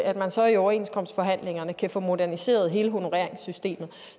at man så i overenskomstforhandlingerne kan få moderniseret hele honoreringssystemet